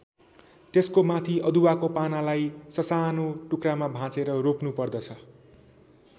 त्यसको माथि अदुवाको पानालाई ससानो टुक्रामा भाँचेर रोप्नु पर्दछ।